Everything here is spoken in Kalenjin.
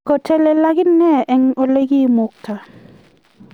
ko telel ak inee eng' ole koimukta